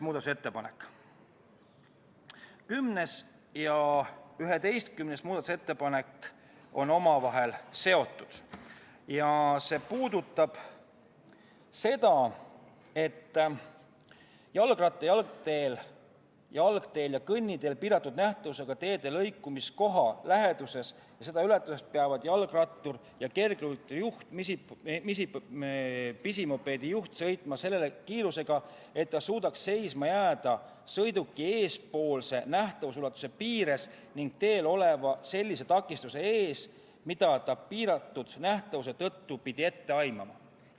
10. ja 11. muudatusettepanek on omavahel seotud ja need puudutavad seda, et jalgratta- ja jalgteel, jalgteel ning kõnniteel piiratud nähtavusega teede lõikumiskohale lähenedes ja seda ületades peavad jalgrattur, kergliikuri juht, pisimopeedi juht ja mopeedijuht sõitma sellise kiirusega, et nad suudaksid seisma jääda sõiduki eespoolse nähtavusulatuse piires ning teel oleva sellise takistuse ees, mida nad piiratud nähtavuse tõttu pidi ette aimama.